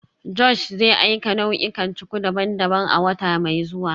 Josh zai aika nau'ikan cuku daban-daban a wata mai zuwa